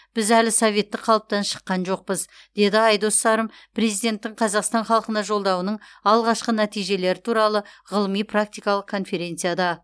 біз әлі советтік қалыптан шыққан жоқпыз деді айдос сарым президенттің қазақстан халқына жолдауының алғашқы нәтижелері туралы ғылыми практикалық конференцияда